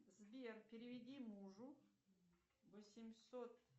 сбер переведи мужу восемьсот